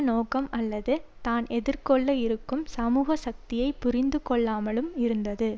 நோக்கம் அல்லது தான் எதிர்கொள்ள இருக்கும் சமூக சக்தியை புரிந்து கொள்ளாமலும் இருந்தது